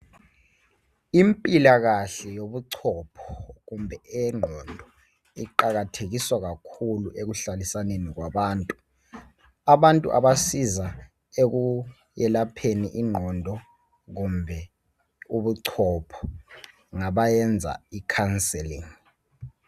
Impilakahle yobuchopho kumbe eyengqondo iqakathekiswa kakhulu ekuhlalisaneni kwabantu. Abantu abasiza ekwelapheni ingqondo kumbe ubuchopho ngabayenza icounselling.